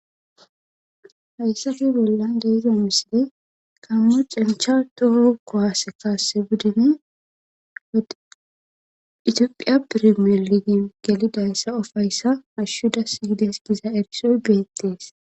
Haysape bollan de'iza mishi cencha toho kuwase budune etophiya perimanal hashu dassi gides